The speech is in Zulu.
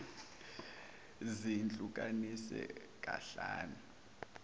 zihlu kaniswe kahlanu